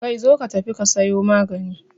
Kai, zo ka tafi ka sayo magani